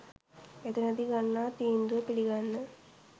එතනදී ගන්නා තීන්දුව පිළිගන්න